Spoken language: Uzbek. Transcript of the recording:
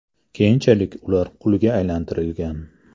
Keyinchalik ular qulga aylantirilgan.